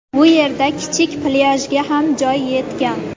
Bu yerda kichik plyajga ham joy yetgan.